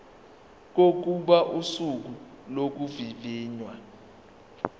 kokuba usuku lokuvivinywa